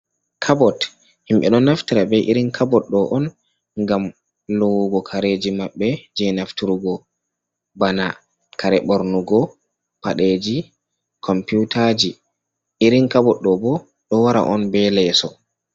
Kabot himɓe do naftara be irin kabot ɗo on ngam lowugo kareji mabbe je naftur go bana kare bornugo paɗeji computaji irin kabot ɗo ɓo ɗo wara on be leso.